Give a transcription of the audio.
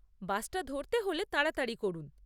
বাসটা ধরতে হলে তাড়াতাড়ি করুন।